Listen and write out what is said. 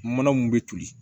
Mana mun bɛ toli